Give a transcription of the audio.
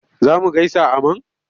Za mu gaisa a man?